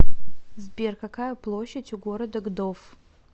сбер какая площадь у города гдов